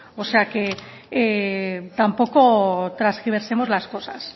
o sea que tampoco transgiversemos las cosas